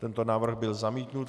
Tento návrh byl zamítnut.